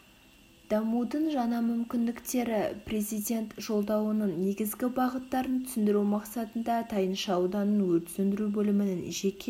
дамудың жаңа мүмкіндіктері президент жолдауының негізгі бағыттарын түсіндіру мақсатында тайынша ауданының өрт сөндіру бөлімінің жеке